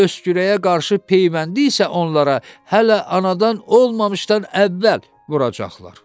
Göy öskürəyə qarşı peyvəndi isə onlara hələ anadan olmamışdan əvvəl vuracaqlar.